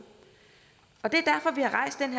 og det